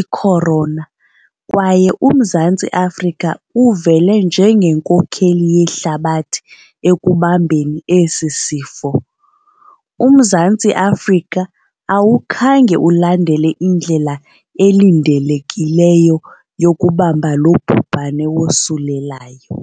ikhorona kwaye uMzantsi Afrika uvele njengenkokheli yehlabathi ekubambeni esi sifo. UMzantsi Afrika, awukhange ulandele indlela elindelekileyo yokubamba lo bhubhane wosulelayo.